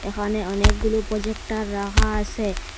এহানে অনেকগুলো প্রজেক্টর রাহা আসে।